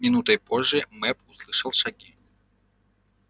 минутой позже мэп услышал шаги